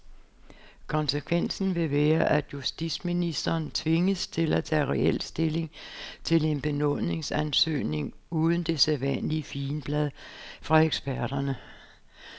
Konsekvensen vil være, at justitsministeren tvinges til at tage reel stilling til en benådningsansøgning uden det sædvanlige figenblad fra eksperterne.